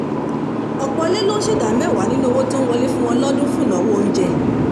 ọ̀pọ̀ ilé ló ń ṣètò ìdá mẹ́wàá nínú owó tó ń wọlé fún wọn lọ́dún fún ìnáwó oúnjẹ